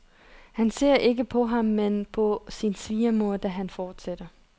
Han ser ikke på ham, men på sin svigermor, da han fortsætter.